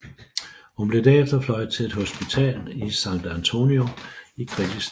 Hun blev derefter fløjet til et hospital i San Antonio i kritisk tilstand